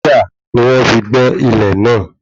Dígà ni wọ́n fi gbẹ́ ilẹ̀ náà